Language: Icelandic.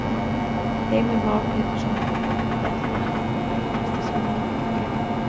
Heimir Már Pétursson: Þetta er nú ekki það þægilegasta sem maður vaknar við?